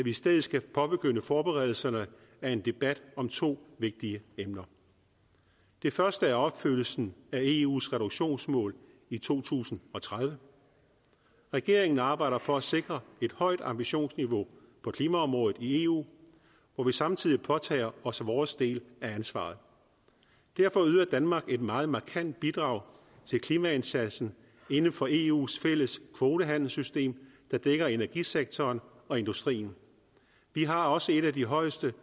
i stedet skal påbegynde forberedelserne af en debat om to vigtige emner det første er opfyldelsen af eus reduktionsmål i to tusind og tredive regeringen arbejder for at sikre et højt ambitionsniveau på klimaområdet i eu hvor vi samtidig påtager os vores del af ansvaret derfor yder danmark et meget markant bidrag til klimaindsatsen inden for eus fælles kvotehandelssystem der dækker energisektoren og industrien vi har også et af de højeste